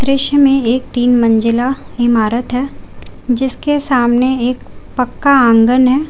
दृश्य में एक तीन मंजिला इमारत है जिसके सामने एक पक्का आंगन है।